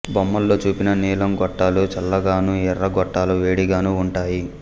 బొమ్మలో చూపిన నీలం గొట్టాలు చల్లగాను ఎర్ర గొట్టాలు వేడిగానూ ఉంటాయి